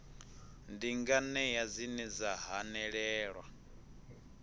ndi nganea dzine dza hanelelwa